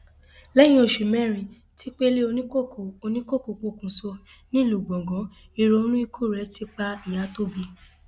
lẹyìn oṣù mẹrin tí pẹlẹ oníkókó oníkókó pokùṣọ nílùú gbọngàn ìrònú ikú rẹ ti pa ìyà tó bí i